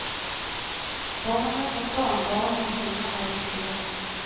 Barnen och barnbarnen hemma är viktiga.